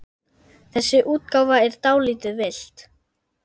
Þessi útgáfa er dálítið villt.